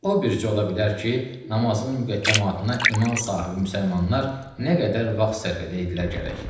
O bircə ola bilər ki, namazının müqəddəmatına iman sahibi müsəlmanlar nə qədər vaxt sərf edədilər gərək.